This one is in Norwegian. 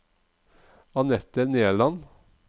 Anette Nerland